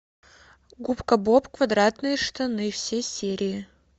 губка боб квадратные штаны все серии